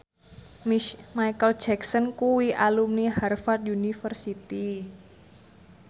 Micheal Jackson kuwi alumni Harvard university